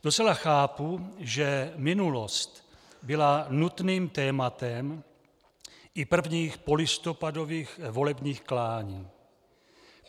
Docela chápu, že minulost byla nutným tématem i prvních polistopadových volebních klání.